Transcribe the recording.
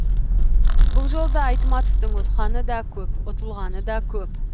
бұл жолда айтматовтың ұтқаны да көп ұтылғаны да көп